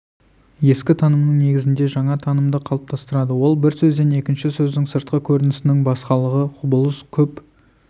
ескі танымның негізінде жаңа танымды қалыптастырады ол бір сөзден екінші сөздің сыртқы көрінісінің басқалығы құбылыс көп